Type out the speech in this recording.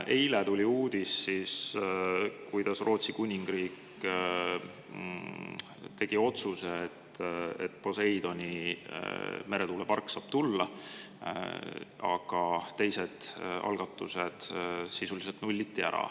Eile tuli uudis, et Rootsi Kuningriik tegi otsuse, et Poseidoni meretuulepark saab tulla, aga teised algatused sisuliselt nulliti ära.